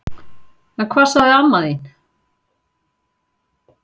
Jóhanna Margrét: En hvað sagði amma þín?